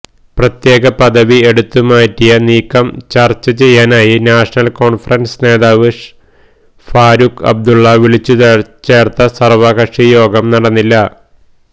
പ്രത്യേക പദവി എടുത്തുമാറ്റിയ നീക്കം ചര്ച്ച ചെയ്യാനായി നാഷണല് കോണ്ഫറന്സ് നേതാവ് ഫാറൂഖ് അബ്ദുള്ള വിളിച്ചുചേര്ത്ത സര്വകക്ഷി യോഗം നടന്നില്ല